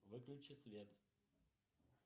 выключи свет